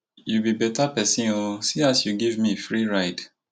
you be beta person oo see as you give me free ride